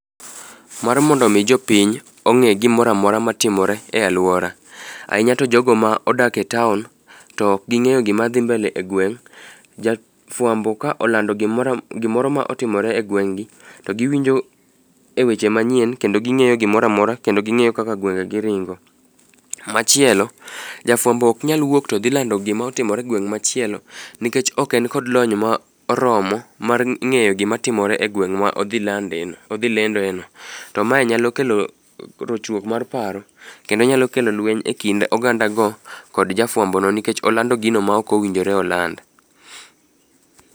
Mar mondo mi jopiny ong'e gimoro amora matimore e aluora, ahinya to jogo ma odak e town to ok ging'eyo gima dhi mbele egweng' ja fuambo ka olando gimoro amo gimoro ma otimore egweng'gi to giwinjo eweche manyien kendo ging'eyo gimoro amora kendo ging'eyo kaka gwenge gi ringo. Machielo, jafuambo ok nyal wuok to dhi lando gima otimore egweng' machielo nikech ok en kod lony ma oromo mar ng'eyo gima timore egweng' ma odhi landeno odhi lendeno. To mae nyalo kelo rochruok mar paro kendo nyalo kelo lueny ekind oganda go kod ja fuambono nikech olando gino maok owinjore oland.